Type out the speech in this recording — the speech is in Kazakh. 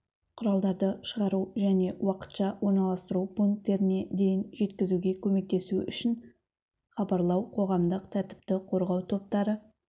құралдарды шығару және уақытша орналастыру пункттеріне дейін жеткізуге көмектесу үшін хабарлау қоғамдық тәртіпті қорғау топтары